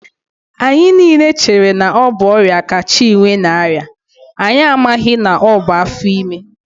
Anyị niile chere na ọ bụ ọrịa ka Chinwe na-arịa, anyị amaghị na ọ bụ afọ ime